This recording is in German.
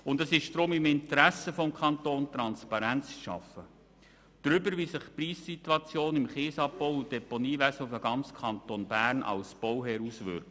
Deshalb liegt es im Interesse des Kantons, Transparenz darüber zu schaffen, wie sich die Preissituation im Kiesabbau- und Deponiewesen auf den ganzen Kanton auswirkt.